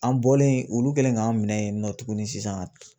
An bɔlen olu kɛlen k'an minɛ yen nɔ tuguni sisan